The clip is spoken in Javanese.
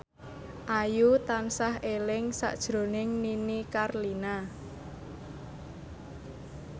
Ayu tansah eling sakjroning Nini Carlina